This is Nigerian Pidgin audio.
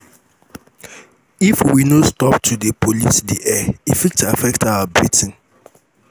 if we no stop to dey pollute di air e fit affect our breathing.